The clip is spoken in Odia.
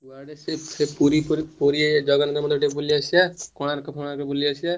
କୁଆଡେ ସେଇ ପୁରୀ ପୁରୀ ଜଗନ୍ନାଥ ମନ୍ଦିର ବୁଲି ଆସିବା କୋଣାର୍କ ଫୋନର୍କ ବୁଲି ଆସିବା।